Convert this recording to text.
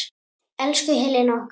Elsku Helena okkar.